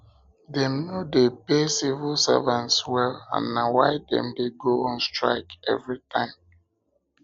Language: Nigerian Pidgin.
dem no dey pay civil servants well and na why dem dey go on strike strike every time